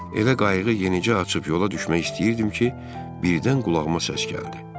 Elə qayığı yenicə açıb yola düşmək istəyirdim ki, birdən qulağıma səs gəldi.